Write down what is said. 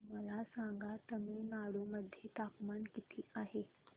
मला सांगा तमिळनाडू मध्ये तापमान किती आहे